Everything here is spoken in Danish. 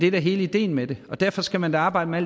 er hele ideen med det derfor skal man arbejde med